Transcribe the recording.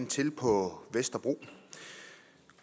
til på vesterbro